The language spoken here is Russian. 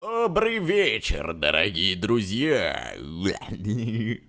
добрый вечер дорогие друзья